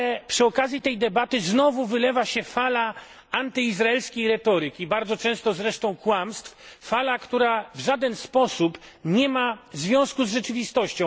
Przy okazji tej debaty znowu jednak wylewa się fala antyizraelskiej retoryki bardzo często zresztą kłamstw fala, która w żaden sposób nie ma związku z rzeczywistością.